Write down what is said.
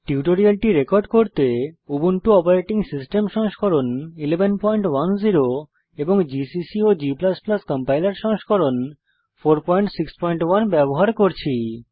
টিউটোরিয়ালটি রেকর্ড করতে Ubuntu operating system সংস্করণ 1110 জিসিসি ও g কম্পাইলার সংস্করণ 461 ব্যবহার করছি